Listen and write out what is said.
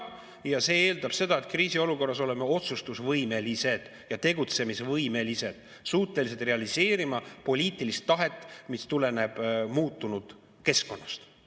Ja see eeldab seda, et kriisiolukorras oleme otsustusvõimelised ja tegutsemisvõimelised, suutelised realiseerima poliitilist tahet, mis tuleneb muutunud keskkonnast.